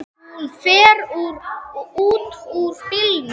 Hún fer út úr bílnum.